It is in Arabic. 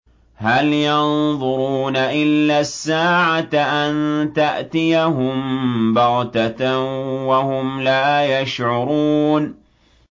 هَلْ يَنظُرُونَ إِلَّا السَّاعَةَ أَن تَأْتِيَهُم بَغْتَةً وَهُمْ لَا يَشْعُرُونَ